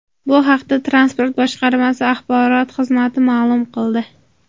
Bu haqda Transport boshqarmasi axborot xizmati ma’lum qildi .